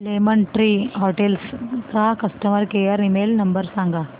lemon Tree Hotels चा customer care email number सांगा